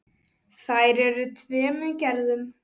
Þær eru af tveimur gerðum.